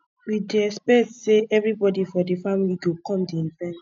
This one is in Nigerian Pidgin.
we dey expect sey everybodi for di family go come di event